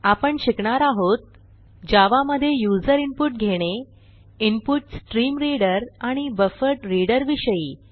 आपण शिकणार आहोत जावा मधे यूझर इनपुट घेणे इन्पुटस्ट्रीमरीडर आणि बफरड्रीडर विषयी